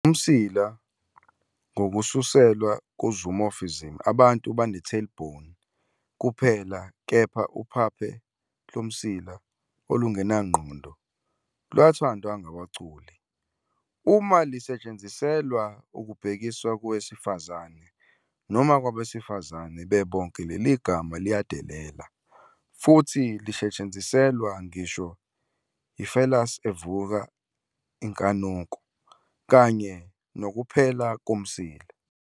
Umsila, ngokususelwa ku-zoomorphism, abantu bane-tail-bone kuphela, kepha "uphaphe lomsila" olungenangqondo lwathandwa ngabaculi. Uma lisetshenziselwa ukubhekisa kowesifazane noma kwabesifazane bebonke, leli gama liyadelela, futhi lisetshenziselwa ngisho i-phallus evusa inkanuko, kanye nokuphela komsila.